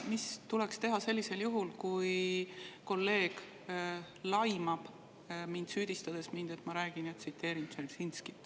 Mis tuleks teha sellisel juhul, kui kolleeg laimab mind, süüdistades mind, et ma tsiteerin Dzeržinskit?